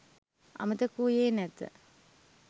අමතක වූයේ නැත